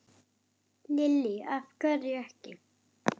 Lillý: Af hverju ekki?